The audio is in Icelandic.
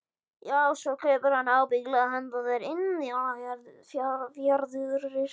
Já, svo kaupir hann ábyggilega handa þér indíánafjaðrir.